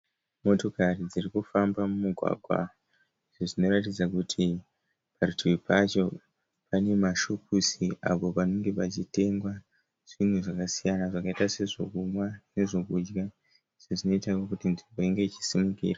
Motokari dziri kufamba mumugwagwa. Zvinoratidza kuti parutivi pacho pane mashopusi apo panenge pachitengwa zvinhu zvakasiyana zvakaita sezvekumwa nezvekudya izvo zvinoitawo kuti nzvimbo inge ichisimukira.